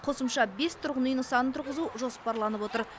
қосымша бес тұрғын үй нысанын тұрғызу жоспарланып отыр